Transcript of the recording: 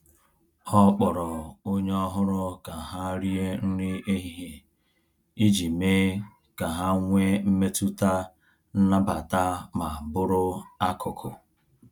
Ọ kpọrọ onye ọhụrụ ka ha rie nri ehihie iji mee ka ha nwee mmetụta nnabata ma bụrụ akụkụ.